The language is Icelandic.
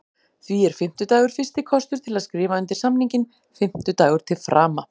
Því er fimmtudagur fyrsti kostur til að skrifa undir samninginn, fimmtudagur til frama.